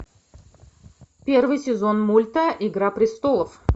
первый сезон мульта игра престолов